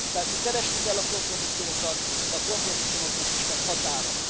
Persze keresni kell a kompromisszumokat, de a kompromisszumoknak is van határa.